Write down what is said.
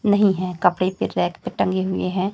नहीं है कपड़े भी रैक पे टंगे हुए हैं।